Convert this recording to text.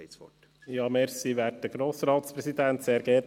Herr Bichsel, Sie haben das Wort.